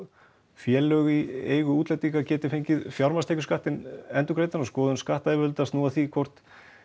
félög í eigu útlendingu geti fengið fjármagnstekjuskattinn endurgreiddan og skoðun skattayfirvalda snúi að því hvort